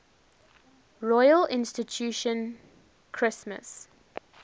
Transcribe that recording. royal institution christmas